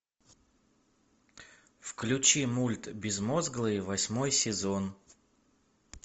включи мульт безмозглые восьмой сезон